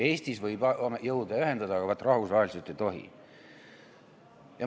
Eestis võib jõude ühendada, aga vaat, rahvusvaheliselt ei tohi.